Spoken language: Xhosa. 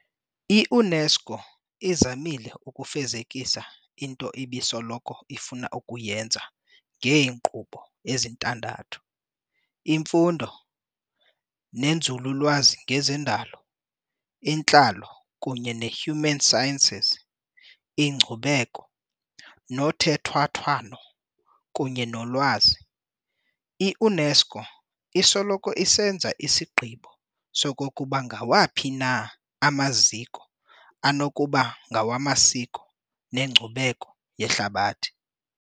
I-UNESCO izamile ukufezekisa into ebisoloko ifuna ukuyenza ngeenkqubo ezintandathu- imfundo, ninzululwazi ngezendalo, intlalo kunye nehuman sciences, inkcubeko, nothethwathwano kunye nolwazi. I-UNESCO isoloko isenza isigqibo sokokuba ngawaphi na amaziko anokuba ngawamasiko neNkcubeko yeHlabathi.